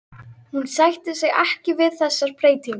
Hún sætti sig ekki við þessar breytingar!